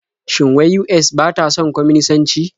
Shin wai US ba ta son kwaminisanci?